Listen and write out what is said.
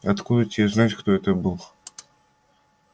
откуда тебе знать кто это был